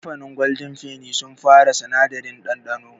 Kamfanin gwaldin feni sun fara sinadari ɗanɗano.